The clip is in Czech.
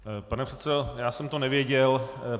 Pane předsedo, já jsem to nevěděl.